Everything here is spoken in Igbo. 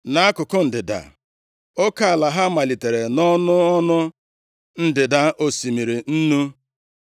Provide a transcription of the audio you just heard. Nʼakụkụ ndịda, oke ala ha malitere nʼọnụ ọnụ ndịda osimiri Nnu. + 15:2 Maọbụ, Osimiri Nwụrụ anwụ.